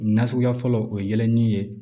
Na suguya fɔlɔ o ye yɛlɛ ni ye